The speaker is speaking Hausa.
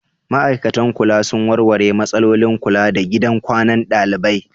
Ma'aikatan kula sun warware matsalolin kula da gidan kwanan ɗalibai?